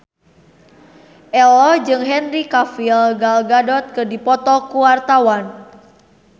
Ello jeung Henry Cavill Gal Gadot keur dipoto ku wartawan